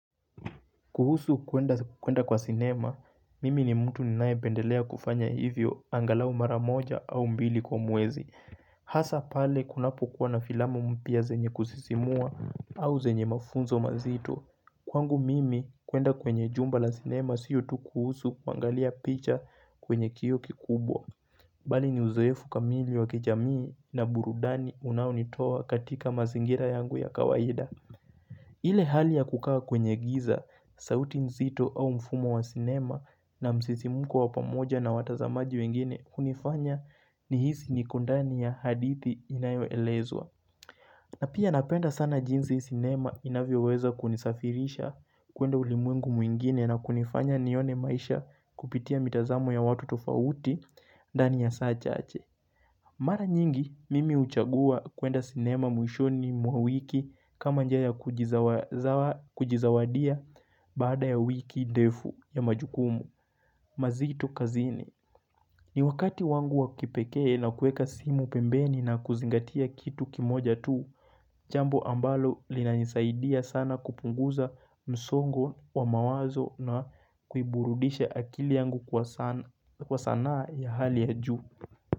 Kuhusu kuenda kwa sinema, mimi ni mtu ninaye pendelea kufanya hivyo angalau mara moja au mbili kwa mwezi. Hasa pale kunapo kuwa na filamu mpya zenye kusisimua au zenye mafunzo mazito. Kwangu mimi kuenda kwenye jumba la sinema sio tu kuhusu kuangalia picha kwenye kioo kikubwa. Bali ni uzoefu kamili wa kijamii, na burudani unaonitoa katika mazingira yangu ya kawaida. Ile hali ya kukaa kwenye giza, sauti nzito au mfumo wa sinema, na msisimko wa pamoja na watazamaji wengine hunifanya nihisi niko ndani ya hadithi inayo elezwa. Na pia napenda sana jinsi sinema inavyoweza kunisafirisha kuenda ulimwengu mwingine na kunifanya nione maisha kupitia mitazamo ya watu tofauti ndani ya saa chache. Mara nyingi, mimi huchagua kuenda sinema mwishoni mwa wiki, kama njia ya kujizawadia baada ya wiki ndefu ya majukumu mazito kazini. Ni wakati wangu wa kipekee na kuweka simu pembeni na kuzingatia kitu kimoja tu, jambo ambalo linanisaidia sana kupunguza msongo wa mawazo na kuiburudisha akili yangu kwa sanaa ya hali ya juu.